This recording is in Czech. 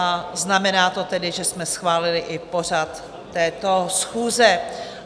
A znamená to tedy, že jsme schválili i pořad této schůze.